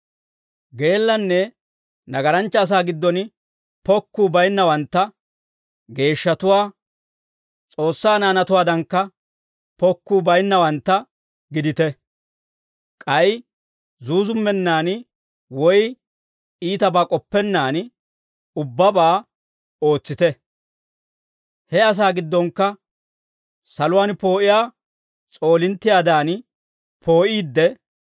Geellanne nagaranchcha asaa giddon pokkuu baynnawantta, geeshshatuwaa, S'oossaa naanatuwaadankka pokkuu bayinnawantta gidite; k'ay zuuzummennan woy iitabaa k'oppennaan ubbabaa ootsite. He asaa giddonkka saluwaan poo'iyaa s'oolinttiyaadan poo'iidde,